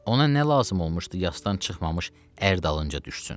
Ona nə lazım olmuşdu, yasdan çıxmamış ər dalınca düşsün.